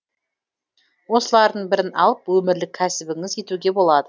осылардың бірін алып өмірлік кәсібіңіз етуге болады